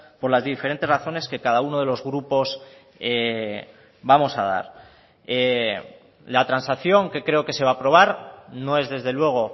por las diferentes razones que cada uno de los grupos vamos a dar la transacción que creo que se va a aprobar no es desde luego